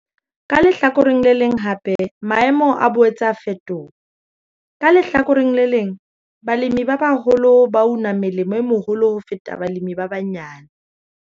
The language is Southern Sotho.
Ka lehlakoreng le leng hape, maemo a boetse a a fetoha. Ka lehlakoreng le leng, balemi ba baholo ba una melemo e meholo ho feta balemi ba banyane.